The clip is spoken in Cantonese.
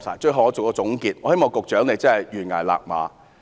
最後，作為總結，我希望李家超局長懸崖勒馬。